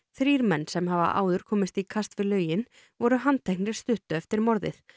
þrír menn sem hafa áður komist í kast við lögin voru handteknir stuttu eftir morðið